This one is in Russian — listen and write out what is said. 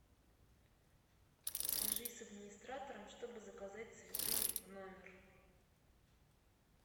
свяжись с администратором чтобы заказать цветы в номер